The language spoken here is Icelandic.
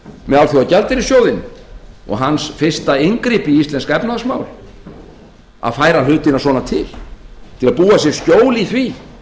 með alþjóðagjaldeyrissjóðinn og hans fyrsta inngrip í íslensk efnahagsmál að færa hlutina svona til til að búa sér skjól í því